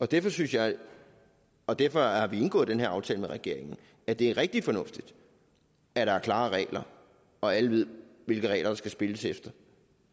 derfor synes jeg og derfor har vi indgået den her aftale med regeringen at det er rigtig fornuftigt at der er klare regler og alle ved hvilke regler der skal spilles efter